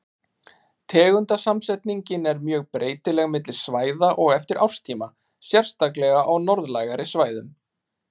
Tegundasamsetningin er mjög breytileg milli svæða og eftir árstíma, sérstaklega á norðlægari svæðum.